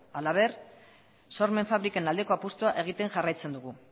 halaber sormen fabriken aldeko apustua egiten jarraitzen dugu